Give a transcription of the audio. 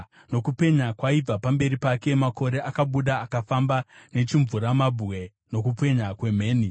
Nokupenya kwaibva pamberi pake, makore akabuda akafamba, nechimvuramabwe nokupenya kwemheni.